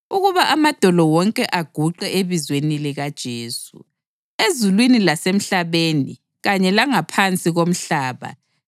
ukuba amadolo wonke aguqe ebizweni likaJesu, ezulwini lasemhlabeni kanye langaphansi komhlaba,